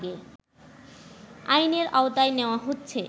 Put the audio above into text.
আইনের আওতায় নেওয়া হচ্ছে